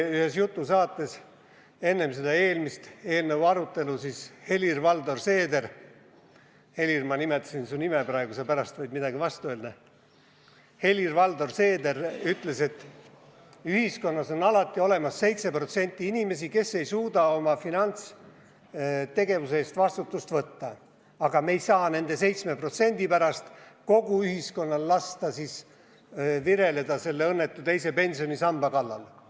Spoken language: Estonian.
Ühes jutusaates enne selle eelnõu eelmist arutelu Helir-Valdor Seeder ütles – Helir, ma nimetasin su nime praegu, sa võid pärast midagi vastu öelda –, et ühiskonnas on alati olemas 7% inimesi, kes ei suuda oma finantstegevuse eest vastutust võtta, aga me ei saa nende 7% pärast kogu ühiskonnal lasta vireleda selle õnnetu teise pensionisamba pärast.